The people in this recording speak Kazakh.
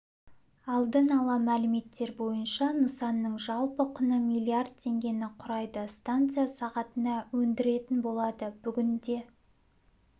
алдын ала мәліметтер бойынша нысанның жалпы құны миллиард теңгені құрайды станция сағатына өндіретін болады бүгінде